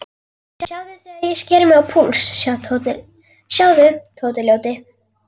Sjáðu þegar ég sker mig á púls, sjáðu, Tóti ljóti.